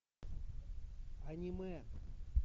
аниме